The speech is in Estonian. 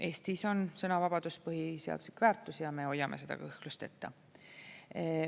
Eestis on sõnavabadus põhiseaduslik väärtus ja me hoiame kõhklusteta.